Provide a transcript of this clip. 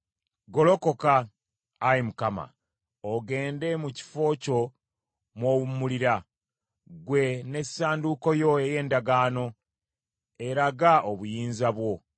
Golokoka, Ayi Mukama , ogende mu kifo kyo mw’owummulira; ggwe n’Essanduuko yo ey’Endagaano, eraga obuyinza bwo.